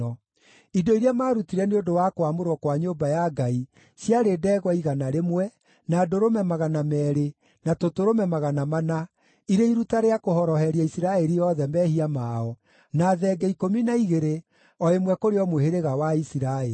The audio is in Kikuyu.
Indo iria maarutire nĩ ũndũ wa kwamũrwo kwa nyũmba ya Ngai ciarĩ ndegwa igana rĩmwe, na ndũrũme magana meerĩ, na tũtũrũme magana mana, irĩ iruta rĩa kũhoroheria Isiraeli othe mehia mao, na thenge ikũmi na igĩrĩ, o ĩmwe kũrĩ o mũhĩrĩga wa Isiraeli.